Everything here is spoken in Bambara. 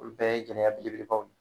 Olu bɛɛ ye gɛlɛya belebelebaw ye